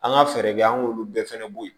An ka fɛɛrɛ kɛ an k'olu bɛɛ fana bɔ yen